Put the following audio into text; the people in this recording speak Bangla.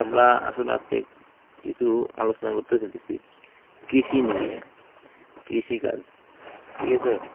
আমরা আসলে আজকে কিছু আলোচনা করতে চাইতেছি কৃষি নিয়ে, কৃষি কাজ ঠিক আছে।